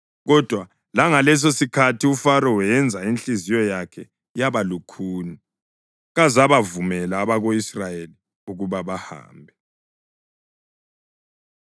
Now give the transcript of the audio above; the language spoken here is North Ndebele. Kodwa langalesosikhathi uFaro wenza inhliziyo yakhe yaba lukhuni kazabavumela abako-Israyeli ukuba bahambe.